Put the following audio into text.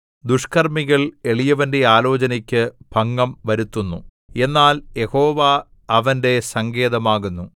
ദുഷ്കർമ്മികൾ എളിയവന്റെ ആലോചനയ്ക്ക് ഭംഗം വരുത്തുന്നു എന്നാൽ യഹോവ അവന്റെ സങ്കേതമാകുന്നു